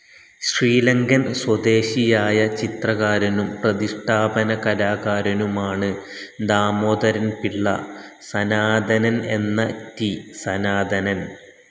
ശ്രീലങ്കൻ സ്വദേശിയായ ചിത്രകാരനും പ്രതിഷ്ടാപന കലാകാരനുമാണ് ദാമോദരന്പിള്ള സനാതനൻ എന്ന റ്റി, സനാതനൻ.